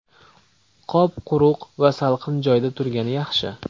Qop quruq va salqin joyda turgani yaxshi.